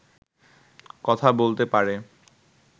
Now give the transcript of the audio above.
কথা বলতে পারে